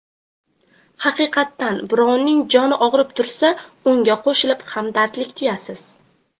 Haqiqatan, birovning joni og‘rib tursa, unga qo‘shilib hamdardlik tuyasiz.